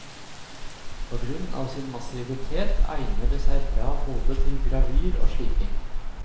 På grunn av sin massivitet egnet det seg bra både til gravyr og sliping.